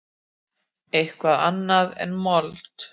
Eitthvað annað en mold.